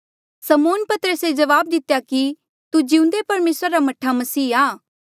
समौन पतरसे जवाब दितेया कि तू जिउंदे परमेसरा रा मह्ठा मसीह आ